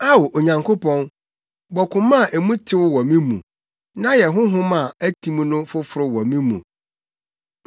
Ao, Onyankopɔn, bɔ koma a mu tew wɔ me mu, na yɛ honhom a atim no foforo wɔ me mu.